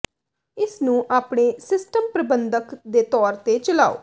ਇਸ ਨੂੰ ਆਪਣੇ ਸਿਸਟਮ ਪ੍ਰਬੰਧਕ ਦੇ ਤੌਰ ਤੇ ਚਲਾਓ